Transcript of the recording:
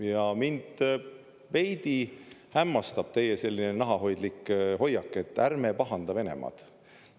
Ja mind veidi hämmastab teie selline nahahoidlik hoiak, et ärme pahanda Venemaad.